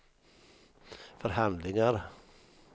förhandlingar